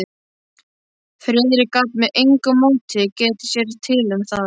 Friðrik gat með engu móti getið sér til um það.